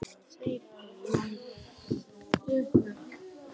Ekki einu sinni eigin mynd af sjálfum mér.